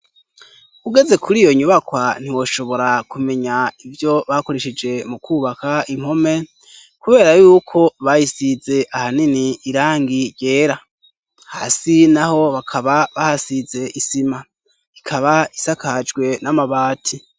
ugeze kuri iyo nyubakwa ntiwoshobora kumenya ivyo bakoresheje mu kubaka impome kubera yuko bayisize ahanini irangi ry' umuhondo hasi naho bakaba bahasize isima ikaba isakajwe n'amabati